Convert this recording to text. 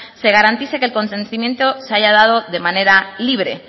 se garantice que el consentimiento se haya dado de manera libre